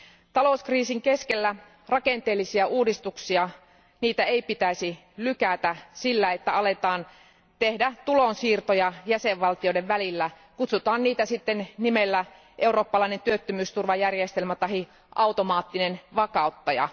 Talouskriisin keskellä rakenteellisia uudistuksia ei pitäisi lykätä sillä, että aletaan tehdä tulonsiirtoja jäsenvaltioiden välillä, kutsutaan niitä sitten nimellä eurooppalainen työttömyysturvajärjestelmä tahi automaattinen vakauttaja.